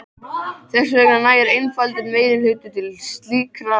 Þess vegna nægir einfaldur meirihluti til slíkrar ákvörðunar.